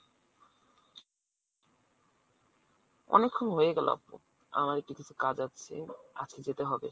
অনেকক্ষণ হয়ে গেল আপু আমার একটু কিছু কাজ আছে আজকে যেতে হবে।